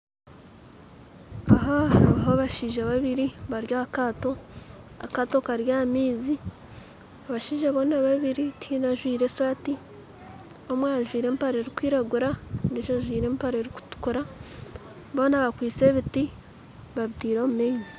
Aha hariho abashaija babiiri bari aha kaato, akaato kari aha maizi abashaija boona babiiri tihaine ajwire esaati omwe ajwire empare erikwiragura ondijo ajwire empare erikutuukura boona bakwistye ebiti babiteire omu maizi